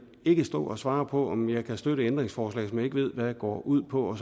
ikke stå og svare på om jeg kan støtte et ændringsforslag som jeg ikke ved hvad går ud på og